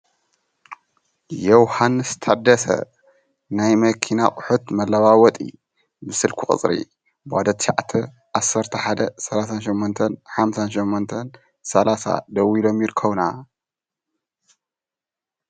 ዮውሃንስ ታደሰ ናይ መኪና ኣቑሑት መለዋወጢ ስልኪ ቁፅሪ 0911385830 ደዊሎም ይርከቡና ።